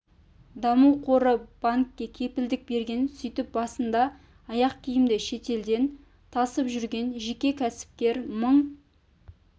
даму қоры банкке кепілдік берген сөйтіп басында аяқ киімді шетелден тасып жүрген жеке кәсіпкер мың